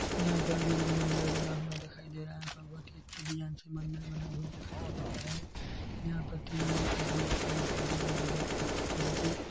यहाँ पर भी एक मंदिर बना दिखाई दे रहा हैयहाँ पर बहुत अच्छी डिज़ाइन से मंदिर बना हुआ दिखाई दे रहा है यहाँ पर तीन मूर्तिया भी रखी हुई दिखाई दे रही है बहुत ही अच्छे तरह से।